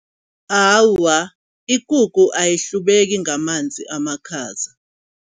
Awa ikukhu ahlubeki ngamanzi amakhaza.